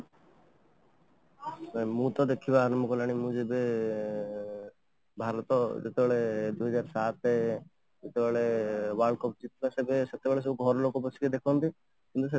ମୁଁ ତ ଦେଖିବା ଆରମ୍ଭ କଲିନି ମୁଁ ଯେବେ ଭାରତ ଯେତେବେଳେ ଦୁଇ ହଜାର ସାତ ଯେତେବେଳେ World Cup ଜିତିଲା ସେବେ ସେତେବେଳେ ସବୁ ଘରଲୋକ ବସିକି ଦେଖନ୍ତି